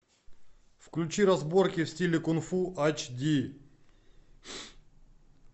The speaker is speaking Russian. включи разборки в стиле кунг фу ач ди